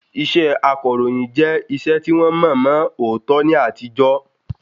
Iṣẹ akọ̀ròyìn jẹ́ iṣẹ́ tí wọ́n mọ̀ mọ̀ òótọ́ ní àtijọ́